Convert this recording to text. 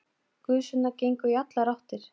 Gusurnar gengu í allar áttir.